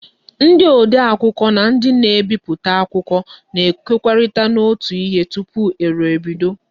Ndi odee akwukwo na ndi na-ebiputa akwukwo na-ekwokorita n'otu ihe tupu eru ebido.